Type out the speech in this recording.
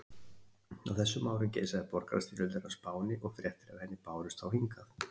Á þessum árum geisaði borgarastyrjöldin á Spáni og fréttir af henni bárust þá hingað.